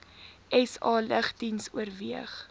sa lugdiens oorweeg